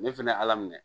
Ne fɛnɛ ye ala minɛ